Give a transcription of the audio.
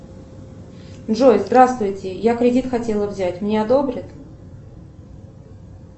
джой здравствуйте я кредит хотела взять мне одобрят